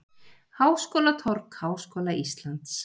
Háskólatorg Háskóla Íslands.